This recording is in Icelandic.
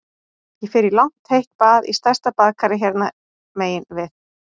Ég fer í langt heitt bað í stærsta baðkari hérna megin við